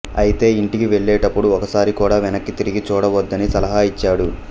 అయితే ఇంటికి వెళ్ళేటప్పుడు ఒక్కసారి కూడా వెనక్కి తిరిగి చూడవద్దని సలహా ఇచ్చాడు